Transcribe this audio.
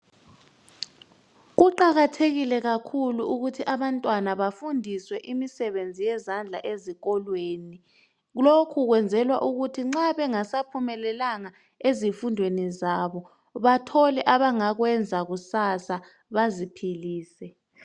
Kuqakathekile kakhulu ukuthi abantwana bafundiswe imisebenzi yezandla ezikolweni. Lokhu bakwenzela ukuthi nxa bengasaphumelelanga ezifundweni zabo bathole abangakwenza kusasa ukuze baziphilise